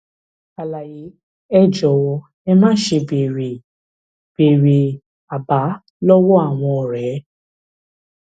àlàyé ẹ jọwọ ẹ máṣe béèrè béèrè àbá lọwọ àwọn ọrẹ